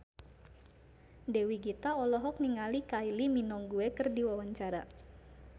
Dewi Gita olohok ningali Kylie Minogue keur diwawancara